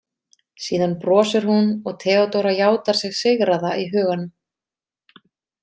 Síðan brosir hún og Theodóra játar sig sigraða í huganum.